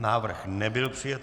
Návrh nebyl přijat.